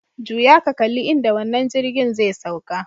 Juya ka kalli inda wannan jirgin zai sauka.